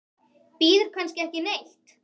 Bíður kannski ekki neitt?